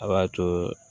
A b'a to